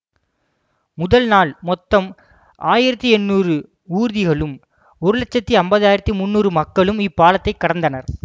முதல் நாள் மொத்தம் ஆயிரத்தி எண்ணூறு ஊர்திகளும் ஒரு லட்சத்தி ஐம்பது ஆயிரத்தி முன்னூறு மக்களும் இப்பாலத்தைக் கடந்தனர்